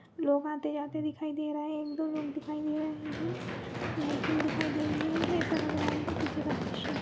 लोग आते जाते दिखाई दे रहेएक दो लोग दिखाई दे रहे हैं लाइटिंग दिखाई दे रही है ऐसा लग रहा है की पीछे का दृश्य है।